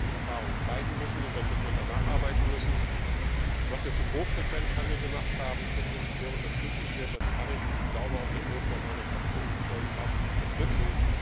Das wird aber die Erfahrung zeigen müssen, und dann wird man da nacharbeiten müssen. Was wir zum Hochfrequenzhandel gemacht haben, finde ich sehr unterstützenswert, das kann ich und ich glaube auch der Großteil meiner Fraktion aus vollem Herzen unterstützen.